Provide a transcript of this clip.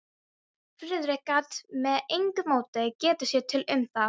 Friðrik gat með engu móti getið sér til um það.